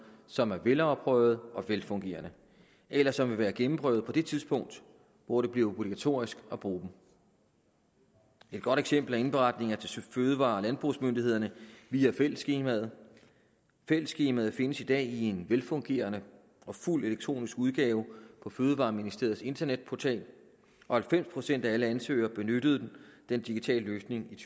som er velafprøvede og velfungerende eller som vil være gennemprøvede på det tidspunkt hvor det bliver obligatorisk at bruge dem et godt eksempel er indberetninger til fødevare og landbrugsmyndighederne via fællesskemaet fællesskemaet findes i dag i en velfungerende og fuldt elektronisk udgave på fødevareministeriets internetportal og halvfems procent af alle ansøgere benyttede den digitale løsning i